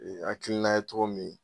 hakilina ye togo min